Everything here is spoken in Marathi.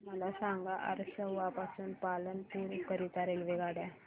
मला सांगा असरवा पासून पालनपुर करीता रेल्वेगाड्या